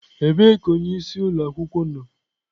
Ebee ka onyeisi ụlọ akwụkwọ nọ?